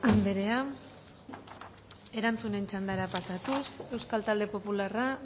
anderea erantzunen txandara pasatuz euskal talde popularra